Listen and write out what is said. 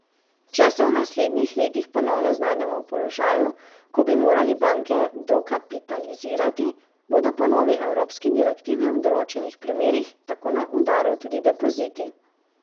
Če se v naslednjih letih ponovno znajdemo v položaju, ko bi morali banke dokapitalizirati, bodo po novi evropski direktivi v določenih primerih tako na udaru tudi depoziti.